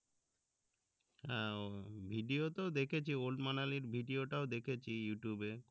হ্যাঁ video তেও দেখিছে ওল্ড মানালি এর video তাও দেখেছি ইউটিউবে এ